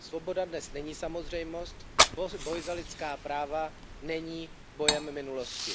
Svoboda dnes není samozřejmost, boj za lidská práva není bojem minulosti.